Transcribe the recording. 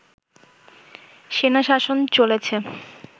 সেনাশাসন চলেছে